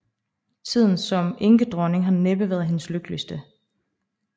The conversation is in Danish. Tiden som enkedronning har næppe været hendes lykkeligste